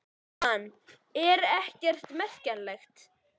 Jóhann: Ekkert sem er merkjanlegt?